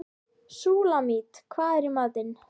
Súlamít, hvað er í matinn?